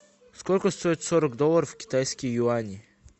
сколько стоит сорок долларов в китайские юани